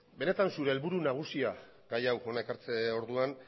benetan zure helburu nagusia gai hau hona ekartze orduan